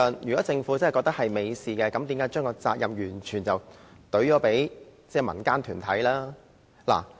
如果政府真的認為是一件美事，為何又會把這責任完全推給民間團體呢？